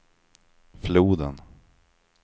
floden